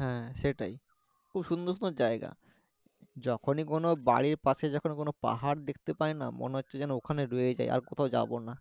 হ্যাঁ সেটাই। খুব সুন্দর সুন্দর জায়গা। যখনি কোনো বাড়ির পশে যখন কোনো পাহাড় দেখতে পাইনা মনে হচ্ছে যেন ওখানেই রয়ে যাই, আর কোথাও যাবো না